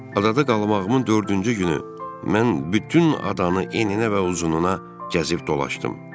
Adada qalmağımın dördüncü günü mən bütün adanı eninə və uzununa gəzib dolaşdım.